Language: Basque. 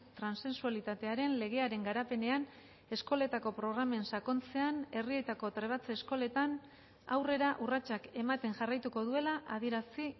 transexualitatearen legearen garapenean eskoletako programen sakontzean herrietako trebatze eskoletan aurrera urratsak ematen jarraituko duela adierazi